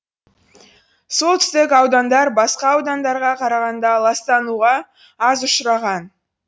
солтүстік аудандар басқа аудандарға қарағанда ластануға аз ұшыраған